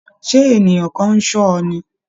Ṣé ènìyàn kan ń ṣọ́ ni?